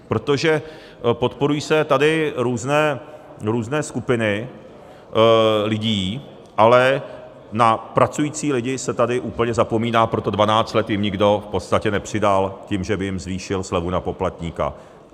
Protože podporují se tady různé skupiny lidí, ale na pracující lidi se tady úplně zapomíná, proto 12 let jim nikdo v podstatě nepřidal tím, že by jim zvýšil slevu na poplatníka.